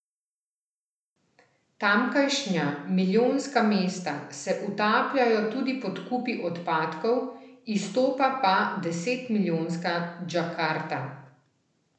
Tamkajšnja milijonska mesta se utapljajo tudi pod kupi odpadkov, izstopa pa desetmilijonska Džakarta.